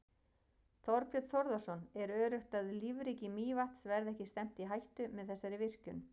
Þorbjörn Þórðarson: Er öruggt að lífríki Mývatns verði ekki stefnt í hættu með þessari virkjun?